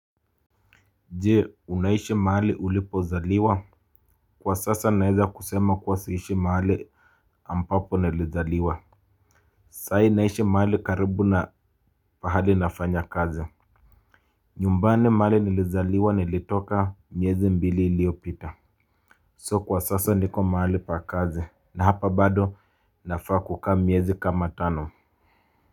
Jee unaishi mahali ulipozaliwa. Kwa sasa naeza kusema kwa siishi mahali ambapo nilizaliwa. Sai naishi mahali karibu na pahali nafanya kazi. Nyumbani mahali nilizaliwa nilitoka miezi mbili iliopita So kwa sasa niko mahali pa kazi na hapa bado nafaa kukaa miezi kama tano. Kwa hivyo.